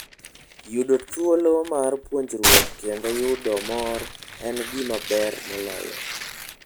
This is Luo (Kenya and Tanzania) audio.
Yudo thuolo mar puonjruok kendo yudo mor en gima ber moloyo.